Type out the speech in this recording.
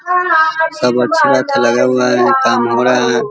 सब अच्छा-अच्छा लगा हुआ हैकाम हो रहा है ।